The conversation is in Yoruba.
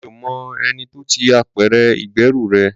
Mi ò mọ ẹni tó ti apẹ̀rẹ̀ ìgbẹ́rù rẹ.